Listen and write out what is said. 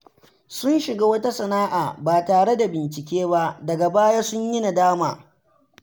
Sun shiga wata sana’a ba tare da bincike ba, daga baya sun yi nadama.